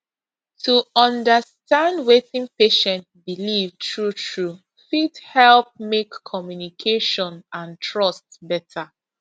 to understand wetin patient believe truetrue fit help make communication and trust better